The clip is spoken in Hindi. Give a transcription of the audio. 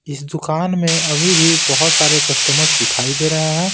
इस दुकान में अभी भी बहुत सारे कस्टमर्स दिखाई दे रहे हैं।